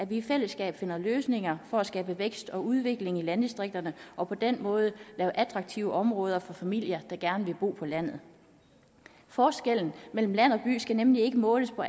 vi i fællesskab finder løsninger for at skabe vækst og udvikling i landdistrikterne og på den måde skaber attraktive områder for familier der gerne vil bo på landet forskellen mellem land og by skal nemlig ikke måles på